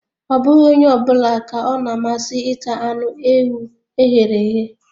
Ọ bụghị onye ọ bụla ka ọ na amasị ịta anụ ewu e ghere eghe